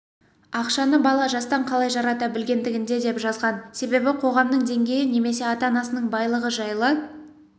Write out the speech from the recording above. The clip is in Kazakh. ақшаны бала жастан қалай жарата білгендігінде деп жазған себебі қоғамның деңгейі немесе ата-анасының байлығы жайлы